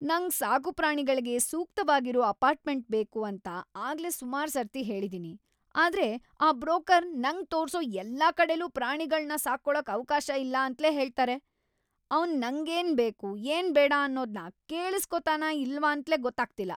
ನಂಗ್ ಸಾಕುಪ್ರಾಣಿಗಳ್ಗೆ ಸೂಕ್ತವಾಗಿರೋ ಅಪಾರ್ಟ್ಮೆಂಟ್ ಬೇಕು ಅಂತ ಆಗ್ಲೇ ಸುಮಾರ್ ಸರ್ತಿ ಹೇಳಿದೀನಿ. ಆದ್ರೆ ಆ ಬ್ರೋಕರ್ ನಂಗ್ ತೋರ್ಸೋ ಎಲ್ಲಾ ಕಡೆಲೂ ಪ್ರಾಣಿಗಳ್ನ ಸಾಕ್ಕೊಳಕ್ ಅವ್ಕಾಶ ಇಲ್ಲ ಅಂತ್ಲೇ ಹೇಳ್ತಾರೆ. ಅವ್ನ್ ನಂಗೇನ್‌ ಬೇಕು, ಏನ್‌ ಬೇಡ ಅನ್ನೋದ್ನ ಕೇಳಿಸ್ಕೊತಾನ ಇಲ್ವಾಂತ್ಲೇ ಗೊತ್ತಾಗ್ತಿಲ್ಲ.